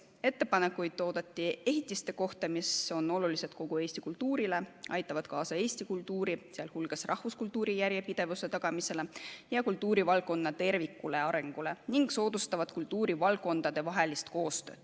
Ettepanekuid oodati ehitiste kohta, mis on olulised kogu Eesti kultuurile, aitavad kaasa Eesti kultuuri, sh rahvuskultuuri järjepidevuse tagamisele ja kultuurivaldkonna terviklikule arengule ning soodustavad kultuurivaldkondade koostööd.